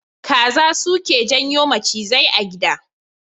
Kaza suke janyo macizai a gida.